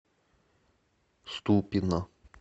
ступино